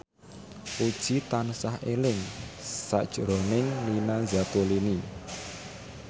Puji tansah eling sakjroning Nina Zatulini